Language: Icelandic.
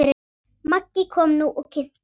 Maggi kom nú og kynnti.